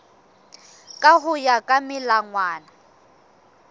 ka ho ya ka melawana